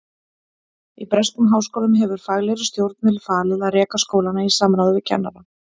Í breskum háskólum hefur faglegri stjórn verið falið að reka skólana í samráði við kennara.